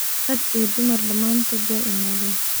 Raag iyo dumar damantodh way iimaden.